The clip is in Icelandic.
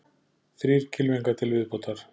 Þrír kylfingar til viðbótar